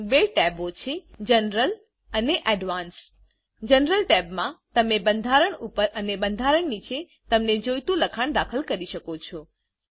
અહી બે ટેબો છે જનરલ અને એડવાન્સ જનરલ ટેબમાં તમે બંધારણ ઉપર અને બંધારણ નીચે તમને જોઈતું લખાણ દાખલ કરી શકો છો